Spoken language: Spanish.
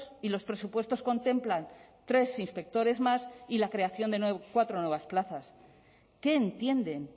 y los presupuestos contemplan tres inspectores más y la creación de cuatro nuevas plazas qué entienden